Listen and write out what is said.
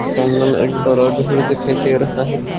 सामने में एक बड़ा घर दिखाई दे रहा है।